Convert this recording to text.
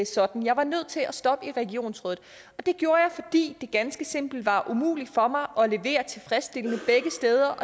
sådan jeg var nødt til at stoppe i regionsrådet det gjorde jeg fordi det ganske simpelt var umuligt for mig at levere tilfredsstillende begge steder